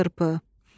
Çılçırpı.